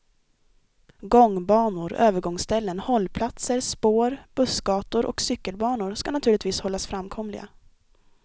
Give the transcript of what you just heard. Gångbanor, övergångsställen, hållplatser, spår, bussgator och cykelbanor ska naturligtvis hållas framkomliga.